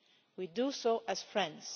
We do so as friends.